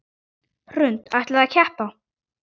Hrund: Ætlið þið að keppa?